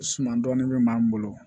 Suman dɔɔni bɛ maa min bolo